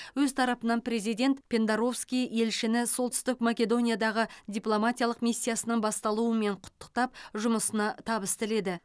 өз тарапынан президент пендаровски елшіні солтүстік македониядағы дипломатиялық миссиясының басталуымен құттықтап жұмысына табыс тіледі